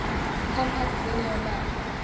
compact linear map